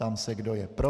Ptám se, kdo je pro.